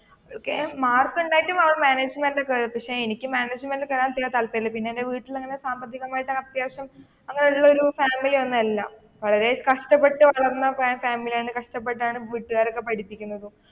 മാർക്കുണ്ടായിട്ടും മാനേജ്‍മെന്റിലാണ് കേറിയത് പക്ഷെ എനിക്ക് മാനേജ്മെന്റിൽ കേറാൻ വല്യ താല്പര്യമില്ല പിന്നെ എന്റെ വീട്ടിൽ തന്നെ സാമ്പത്തികമായിട്ട് അത്യാവശ്യം അങ്ങനെ ഉള്ള ഒരു ഫാമിലി ഒന്നുമല്ല വളരെ കഷ്ടപ്പെട്ട് വളർന്ന ഫാമിലിയാണ് കഷ്ടപ്പെട്ടാണ്, വീട്ടുകാരൊക്കെ പഠിപ്പിക്കുന്നത്.